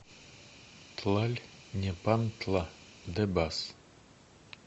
тлальнепантла де бас